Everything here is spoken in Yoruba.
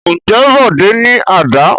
Ǹjẹ́ Bọ̀dé ní àdá?